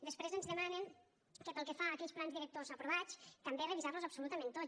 després ens demanen pel que fa a aquells plans directors aprovats també revisar los absolutament tots